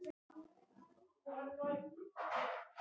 Því færi fjarri að hann gæti misþyrmt nokkurri manneskju.